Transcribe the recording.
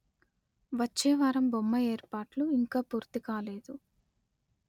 వచ్చే వారం బొమ్మ ఏర్పాట్లు ఇంకా పూర్తి కాలేదు